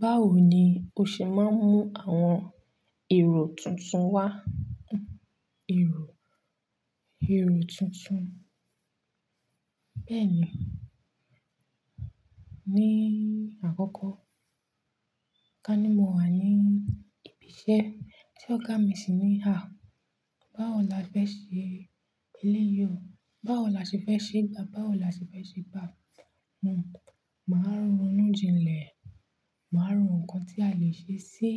Báwo ni o ṣe máa ń mú àwọn èrò tuntun wá? Èrò, èrò tuntun. Bẹ́ẹ̀ni, ní àkókò kani mo wà ní ibi iṣẹ́ tí ọ̀gá mi ṣì ní, "à, báwo la fẹ́ ṣe eléyìí o? Báwo la ṣe fẹ́ ṣe gbà? Báwo la ṣe fẹ́ ṣe gbà?" Màá ronú jinlẹ̀, màá ro nǹkan tí a lè ṣe sí